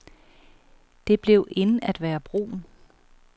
Det blev in at være brun.